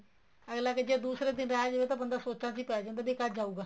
ਅੱਗਲਾ ਜ਼ੇ ਦੂਸਰੇ ਦਿਨ ਰਹਿ ਜਾਵੇ ਤਾਂ ਬੰਦਾ ਸੋਚਾ ਚ ਹੀ ਪੇ ਜਾਂਦਾ ਵੀ ਇਹ ਕਦ ਜਾਉਗਾ